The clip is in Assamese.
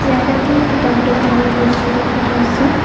ইয়াত এখন কিতাপ দোকানৰ দৃশ্য দেখুওৱা হৈছে।